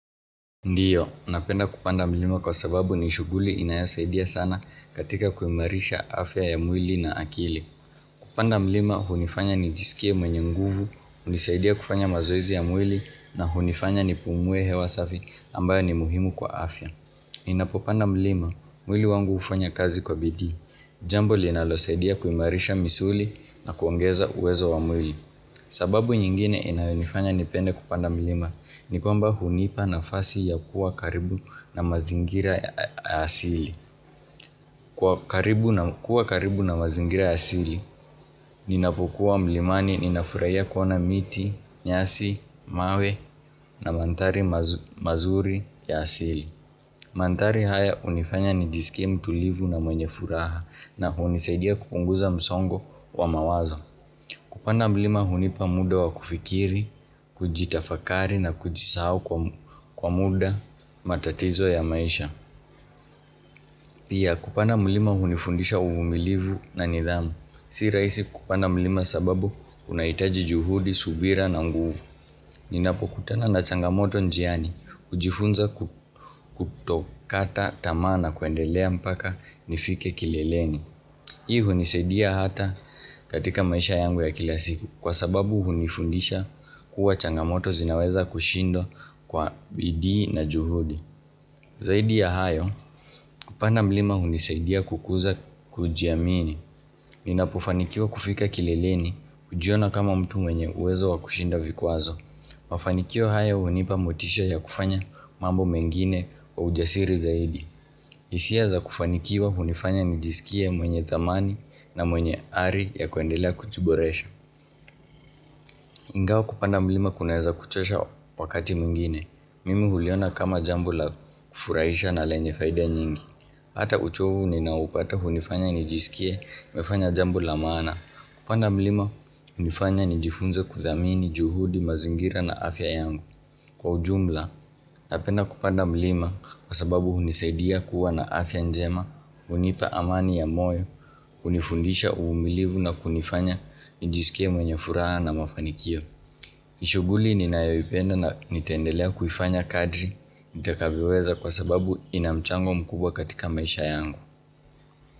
Ndio napenda kupanda mlima kwa sababu nishuguli inayosaidia sana katika kuimarisha afya ya mwili na akili. Kupanda mlima, hunifanya nijisikie mwenye nguvu, hunisaidia kufanya mazoezi ya mwili na hunifanya nipumue hewa safi ambayo ni muhimu kwa afya. Ninapopanda mlima, mwili wangu ufanya kazi kwa bidii. Jambo linalosaidia kuimarisha misuli na kuongeza uwezo wa mwili. Sababu nyingine inayonifanya nipende kupanda mlima ni kwamba hunipa nafasi ya kuwa karibu na mazingira ya asili kuwa karibu na mazingira ya asili Ninapokuwa mlimani ninafurahia kuona miti, nyasi, mawe na manthari mazuri ya asili manthari haya hunifanya nijiskie mtulivu na mwenye furaha na hunisaidia kupunguza msongo wa mawazo kupanda mlima hunipa muda wa kufikiri, kujitafakari na kujisahau kwa muda matatizo ya maisha Pia kupanda mlima hunifundisha uvumilivu na nidhamu Si rahisi kupanda mlima sababu kuna hitaji juhudi, subira na nguvu Ninapokutana na changamoto njiani, hujifunza kutokata tamaa na kuendelea mpaka nifike kileleni Hii hunisaidia hata katika maisha yangu ya kila siku kwasababu hunifundisha kuwa changamoto zinaweza kushindwa kwa bidii na juhudi Zaidi ya hayo kupanda mlima hunisaidia kukuza kujiamini Ninapofanikiwa kufika kileleni hujiona kama mtu mwenye uwezo wa kushinda vikwazo Mafanikio haya hunipa motisha ya kufanya mambo mengine kwa ujasiri zaidi hisia za kufanikiwa hunifanya nijisikie mwenye dhamani na mwenye ari ya kuendelea kujiboresha. Ingawa kupanda mlima kunaweza kuchosha wakati mwingine. Mimi huliona kama jambo la kufurahisha na lenye faida nyingi. Hata uchovu ninaoupata hunifanya nijisike nimefanya jambo la maana. Kupanda mlima hunifanya nijifunze kudhamini juhudi mazingira na afya yangu. Kwa ujumla, napenda kupanda mlima kwasababu hunisaidia kuwa na afya njema. Hunipa amani ya moyo, hunifundisha umilivu na kunifanya njiskie mwenye furaha na mafanikio. Ni shuguli ninayoipenda na nitaendelea kuifanya kadri, nitakavyoweza kwa sababu ina mchango mkubwa katika maisha yangu.